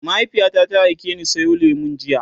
mahaifiyata ta aikeni Sayo lemu jiya